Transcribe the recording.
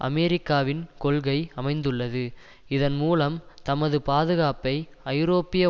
அமெரிக்காவின் கொள்கை அமைந்துள்ளது இதன் மூலம் தமது பாதுகாப்பை ஜரோப்பிய